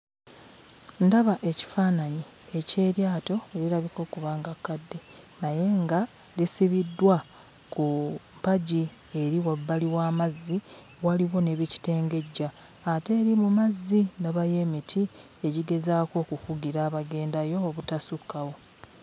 Ndaba ekifaananyi eky'eryato erirabika okuba nga kkadde naye nga lisibiddwa ku mpagi eri wabbali w'amazzi, waliwo ne bikitengejja. Ate eri mu mazzi ndabayo emiti egigezaako okukugira abagendayo obutasukkawo.